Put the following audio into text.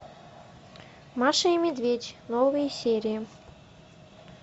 маша и медведь новые серии